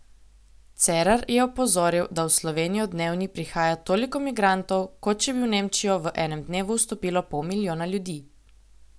Cerar je opozoril, da v Slovenijo dnevni prihaja toliko migrantov, kot če bi v Nemčijo v enem dnevu vstopilo pol milijona ljudi.